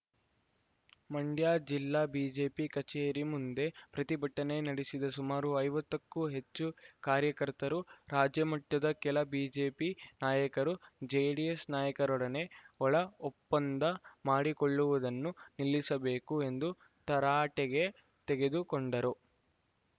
ಮಂಡ್ಯ ಜಿಲ್ಲಾ ಬಿಜೆಪಿ ಕಚೇರಿ ಮುಂದೆ ಪ್ರತಿಭಟನೆ ನಡೆಸಿದ ಸುಮಾರು ಐವತ್ತಕ್ಕೂ ಹೆಚ್ಚು ಕಾರ್ಯಕರ್ತರು ರಾಜ್ಯಮಟ್ಟದ ಕೆಲ ಬಿಜೆಪಿ ನಾಯಕರು ಜೆಡಿಎಸ್‌ ನಾಯಕರೊಡನೆ ಒಳ ಒಪ್ಪಂದ ಮಾಡಿಕೊಳ್ಳುವುದನ್ನು ನಿಲ್ಲಿಸಬೇಕು ಎಂದು ತರಾಟೆಗೆ ತೆಗೆದುಕೊಂಡರು